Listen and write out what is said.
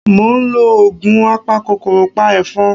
Mo ń lo oògùn apakòkòrò pa ẹ̀fọn